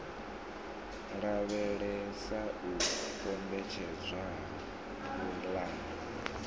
lavhelesa u kombetshedzwa ha pulani